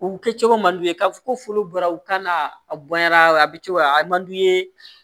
U kɛcogo man d'u ye k'a fɔ ko furu bɔra u kan na a bonyana a bɛ cogo di a man d'u ye